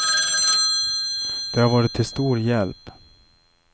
Det har varit till stor hjälp.